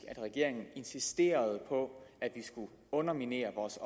at regeringen insisterede på at vi skulle underminere vores